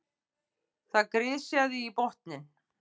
Það grisjaði í botninn.